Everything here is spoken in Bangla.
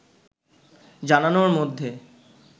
জানানোর মধ্যে